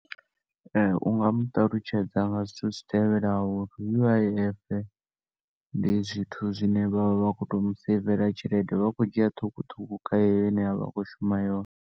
U nga muṱalutshedza nga zwithu zwi tevhelaho, U_I_F ndi zwithu zwine vha vha vha khoto u mu seivela tshelede, vha tshi khou dzhia ṱhukhuṱhukhu kha heneyo ine a vha a khou shuma yone.